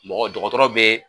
Mɔgɔ dɔgɔtɔrɔ bɛ